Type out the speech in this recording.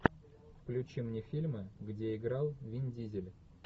включи мне фильмы где играл вин дизель